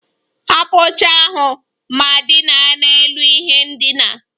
Hapụ oche ahụ ma dina n'elu ihe ndina!